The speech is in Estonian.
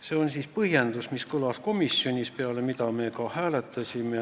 See on siis põhjendus, mis kõlas komisjonis ja peale mida me ka hääletasime.